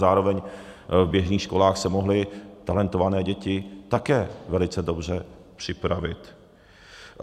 Zároveň v běžných školách se mohly talentované děti také velice dobře připravit.